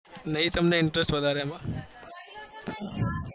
નહી તમને intress વધારે એમાં